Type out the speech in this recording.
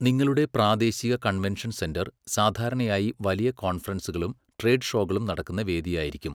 നിങ്ങളുടെ പ്രാദേശിക convention centre സാധാരണയായി വലിയ കോൺഫറൻസുകളും ട്രേഡ് ഷോകളും നടക്കുന്ന വേദിയായിരിക്കും.